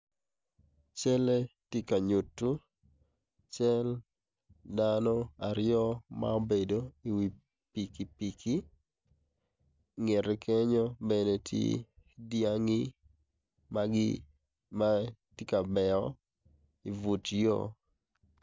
Calle ti ka nyuttu cel dano aryo ma obedo i pikipiki ingette kenyo bene tye dyangi ma ma giti ka meo i but yo